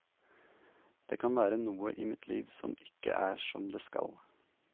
Det kan være noe i mitt liv som ikke er som det skal.